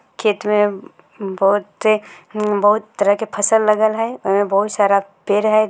खेत में बहुते-बहुत तरह के फसल लगल हई ओय में बहुत सारा पेड़ हई।